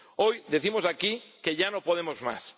Hoy decimos aquí que ya no podemos más.